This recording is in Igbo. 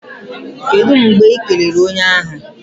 Kedụ mgbe Ị kelere onye ahụ?